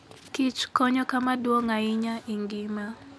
kich konyo kama duong' ahinya e ngima .